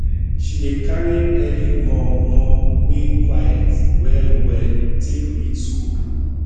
she dey carry early mor mor wey queit well well take read school book